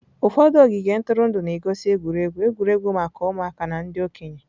Ụfọdụ ogige ntụrụndụ na-egosi egwuregwu egwuregwu maka ụmụaka na ndị okenye.